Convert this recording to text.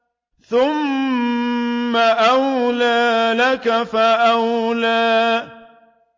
ثُمَّ أَوْلَىٰ لَكَ فَأَوْلَىٰ